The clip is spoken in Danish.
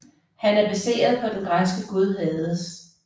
Han er baseret på den græske gud Hades